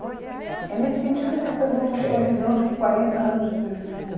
É nesse sentido, é, que eu pergunto a sua visão de quarenta anos de serviço